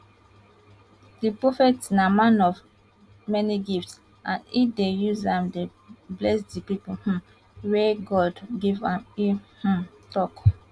di prophet na man of many gifts and e dey use dem bless di pipo um wey god give am e um tok